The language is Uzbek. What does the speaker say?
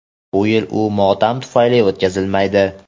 bu yil u motam tufayli o‘tkazilmaydi.